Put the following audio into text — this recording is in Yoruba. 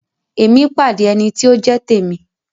Emi pàdé ẹní ti o jẹ t'emi.